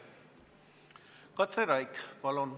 Katri Raik, palun!